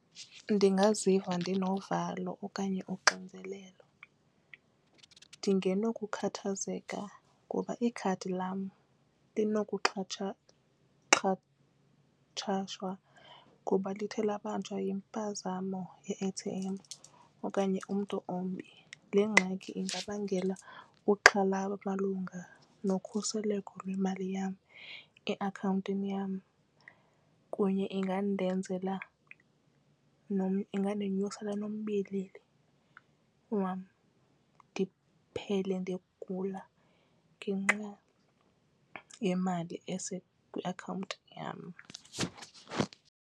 Ndingaziva ndinovalo okanye unxinzelelo ndingeno kukhathazeka kuba ikhadi lam xhatshazwa ngoba lithe labanjwa yimpazamo ye-A_T_M okanye umntu ombi. Le ngxaki ingabangela uxhalabo malunga nokhuseleko lwemali yam eakhawuntini yam kunye ingandenzela ingandonyusela nombilini wam ndiphele ndigula ngenxa yemali eseakhawuntini yam.